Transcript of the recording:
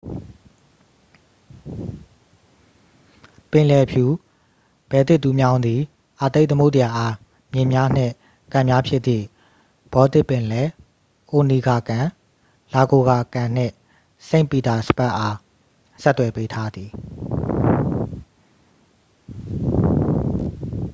ပင်လယ်ဖြူ-ဘယ်လ်တစ်တူးမြောင်းသည် အာတိတ်သမုဒ္ဒရာအား မြစ်များနှင့် ကန်များဖြစ်သည့် ဘော်တစ်ပင်လယ်၊ အိုနီဂါကန် ၊ လာဂိုဂါ ကန် နှင့် စိန့်ပီတာစဘတ်အား ဆက်သွယ်ပေးထားသည်။